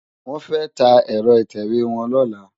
Wòn fè tá èrò itèwé wòn lòlá